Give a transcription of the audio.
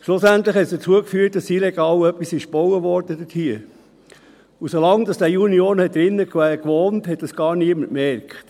Schliesslich führte dies dazu, dass dort illegal gebaut wurde, und solange der Junior dort drin wohnte, merkte es niemand.